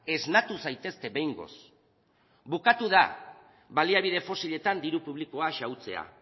esnatu zaitezte behingoz bukatu da baliabide fosiletan diru publikoa xahutzea